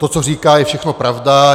To, co říká, je všechno pravda.